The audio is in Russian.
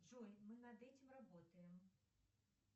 джой мы над этим работаем